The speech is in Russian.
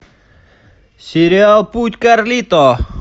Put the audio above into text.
сериал путь карлито